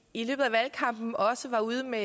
i løbet af valgkampen også var ude med